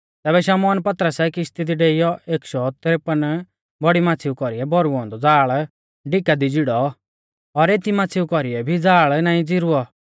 तैबै शमौन पतरसै किश्ती दी डेइऔ एक शौ तरेपन बौड़ी माच़्छ़ीउ कौरी भौरुऔ औन्दौ ज़ाल़ डिका दी झिड़ौ और एती माच़्छ़ीउ कौरीऐ भी ज़ाल़ नाईं च़िरुऔ